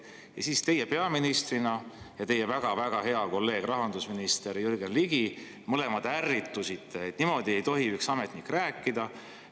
Ja siis teie peaministrina ja teie väga-väga hea kolleeg rahandusminister Jürgen Ligi mõlemad ärritusite, et niimoodi ei tohi üks ametnik rääkida.